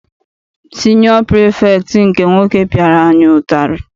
Siniọ pirifektị nke nwoke piara anyị ụtarị.